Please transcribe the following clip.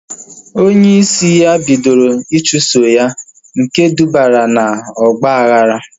Onye isi ya bidoro ichuso ya nke dubara na ọgba aghara